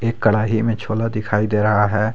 एक कड़ाही में छोला दिखाई दे रहा है।